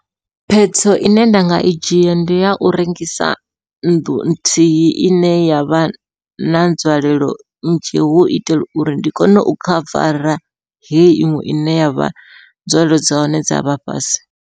Phetho ine nda nga i dzhia ndi yau rengisa nnḓu nthihi ine yavha na nzwalelo nnzhi hu u itela uri ndi kone u khavara hei iṅwe ine yavha nzwalelo dza hone dza vha fhasi.